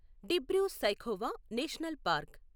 Dibru Saikhowa national park